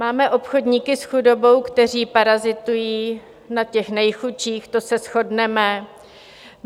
Máme obchodníky s chudobou, kteří parazitují na těch nejchudších, to se shodneme.